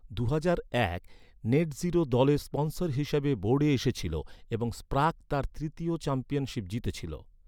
দুহাজার এক, নেটজিরো, দলের স্পনসর হিসাবে বোর্ডে এসেছিল এবং স্প্রাগ তার তৃতীয় চ্যাম্পিয়নশিপ জিতেছিল।